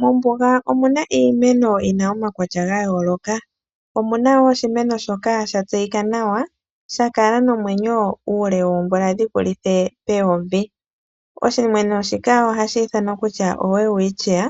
Mombuga omuna iimeno yina omaukwatya ga yooloka. Omuna woo oshimeno shoka sha tseyika nawa sha kala nomwenyo uule woomvula dhi vulithe peyovi, oshimeno shika ohashi ithanwa kutya oWelwichia,